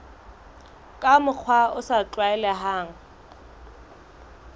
ka mokgwa o sa tlwaelehang